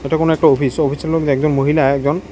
এটা কোন একটা অফিস অফিসের একজন মহিলা একজন--